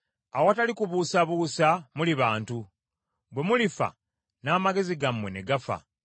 “Awatali kubuusabuusa muli bantu. Bwe mulifa n’amagezi gammwe ne gafa.